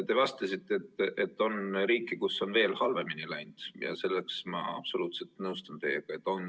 Te vastasite, et on riike, kus on veel halvemini läinud, ja selles ma absoluutselt nõustun teiega.